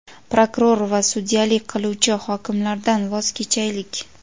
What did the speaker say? prokuror va sudyalik qiluvchi hokimlardan voz kechaylik.